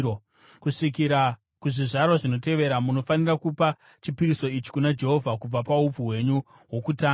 Kusvikira kuzvizvarwa zvinotevera munofanira kupa chipiriso ichi kuna Jehovha kubva paupfu hwenyu hwokutanga.